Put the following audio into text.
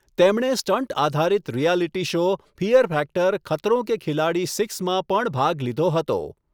તેમણે સ્ટંટ આધારિત reality show 'fear factor Khatron ke Khiladi six' માં પણ ભાગ લીધો હતો.